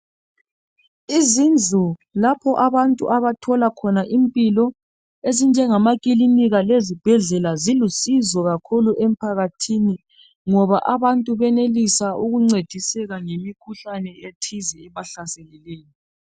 Izindlu lapho abantu abathola khona impilo ezinjenga makilinika kanye lezibhedlela zilusizo kakhulu emphakathini ngoba abantu benelisa ukuncediseka ngemikhuhlane ethize ebahlaseleyo